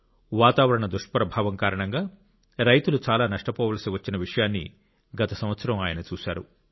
వాతావరణ దుష్ప్రభావం కారణంగా రైతులు చాలా నష్టపోవలసి వచ్చిన విషయాన్ని గత సంవత్సరం ఆయన చూశారు